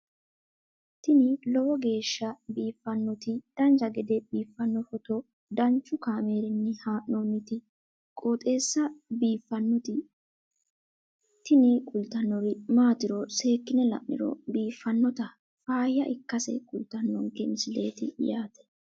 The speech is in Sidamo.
tini lowo geeshsha biiffannoti dancha gede biiffanno footo danchu kaameerinni haa'noonniti qooxeessa biiffannoti tini kultannori maatiro seekkine la'niro biiffannota faayya ikkase kultannoke misileeti yaate